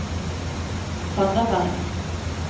Randaberg